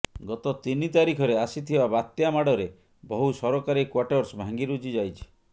ଗତ ତିନି ତାରିଖରେ ଆସିଥିବା ବାତ୍ୟା ମାଡରେ ବହୁ ସରକାରୀ କ୍ୱାଟର୍ସ ଭାଙ୍ଗିରୁଜି ଯାଇଛି